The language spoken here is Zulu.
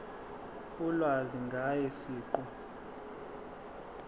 ulwazi ngaye siqu